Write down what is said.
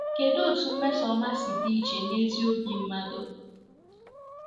Kedụ otú mmesoọma si dị iche n’ezi obi mmadụ?